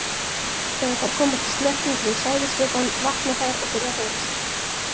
Þegar þær komast í snertingu við sæðisvökvann vakna þær og byrja að hreyfa sig.